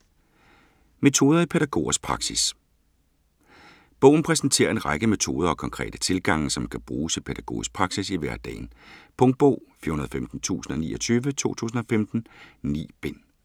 Metoder i pædagogers praksis Bogen præsenterer en række metoder og konkrete tilgange, som kan bruges i pædagogisk praksis i hverdagen. Punktbog 415029 2015. 9 bind.